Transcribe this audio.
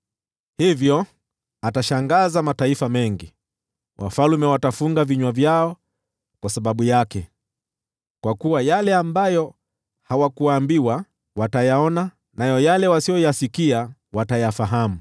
hivyo atayashangaza mataifa mengi, nao wafalme watafunga vinywa vyao kwa sababu yake. Kwa kuwa yale ambayo hawakuambiwa, watayaona, nayo yale wasiyoyasikia, watayafahamu.